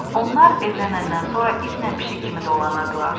Onlar evlənəndən sonra itlə pişik kimi dolanırdılar.